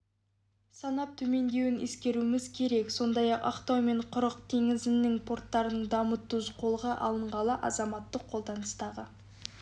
санап төмендеуін ескеруіміз керек сондай-ақ ақтау мен құрық теңіз порттарының дамыту қолға алынғалы азаматтық қолданыстағы